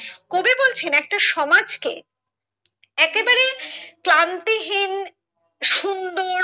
কবি বলেছেন একটা সমাজ কে একেবারে ক্লান্তিহীন সুন্দর